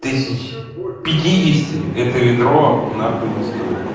тысяч пятидесяти это ведро нахуй не стоит